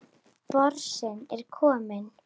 Porsinn er kominn.